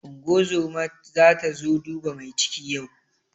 Unguwar zoma zata zo duba mai ciki yau.